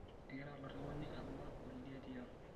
Egira olarriponi ama oldia tiang'.